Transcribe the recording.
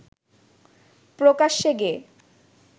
প্রকাশ্যে গেয়ে